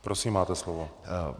Prosím, máte slovo.